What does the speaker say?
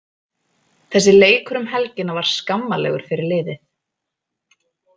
Þessi leikur um helgina var skammarlegur fyrir liðið.